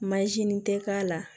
tɛ k'a la